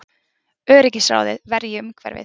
Öryggisráðið verji umhverfið